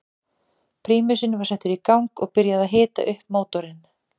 Prímusinn var settur í gang og byrjað að hita upp mótorinn.